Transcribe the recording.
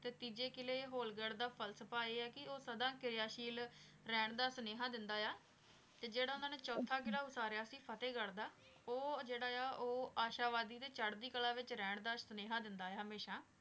ਤੇ ਤੀਜੇ ਕਿਲੇ ਹੋਲ ਗਢ਼ ਦਾ ਫ਼ਲਸਫ਼ਾ ਆਯ ਆ ਕੀ ਊ ਸਦਾ ਕਾਯਾਸ਼ਿਲ ਰਹਨ ਦਾ ਸਨੇਹਾ ਦੇਂਦਾ ਆਯ ਆ ਤੇ ਜੇਰਾ ਓਨਾਂ ਨੇ ਚੋਥਾ ਕਿਲਾ ਵਾਸਾਰਯ ਸੀ ਫ਼ਤੇਹ ਗਢ਼ ਦਾ ਊ ਜੇਰਾ ਆਯ ਆ ਊ ਆਸ਼ਾ ਵਾਦੀ ਤੇ ਚਾਰ੍ਹਦੀ ਕਲਾ ਵਿਚ ਰਹਨ ਦਾ ਸਨੇਹਾ ਦੇਂਦਾ ਆਯ ਆ ਹਮੇਸ਼ਾ